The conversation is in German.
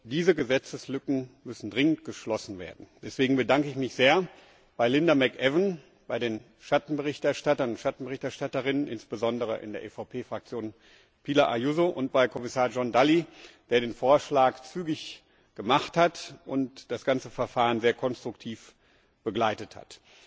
Diese Gesetzeslücken müssen dringend geschlossen werden. Deswegen bedanke ich mich sehr bei Linda McAvan, bei den Schattenberichterstattern und Schattenberichterstatterinnen, insbesondere in der EVP Fraktion Pilar Ayuso, und bei Kommissar John Dalli, der den Vorschlag zügig gemacht hat und das ganze Verfahren sehr konstruktiv begleitet hat.